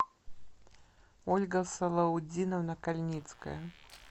ольга салаутдиновна кальницкая